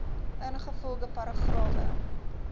ingevolge paragrawe